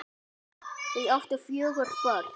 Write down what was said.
Þau áttu fjögur börn